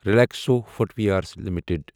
Relaxo footwears limited